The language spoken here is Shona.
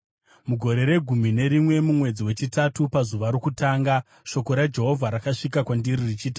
Mugore regumi nerimwe, mumwedzi wechitatu pazuva rokutanga, shoko raJehovha rakasvika kwandiri richiti,